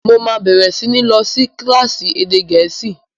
Mo máa bẹ̀rẹ̀ sí ní lọ sí kílásì èdè gẹ̀ẹ́sì